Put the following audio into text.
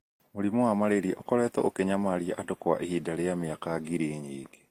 Mũrimũ wa malaria ũkoretwo ũkĩnyamaria andũ kwa ihinda rĩa mĩaka ngiri nyingĩ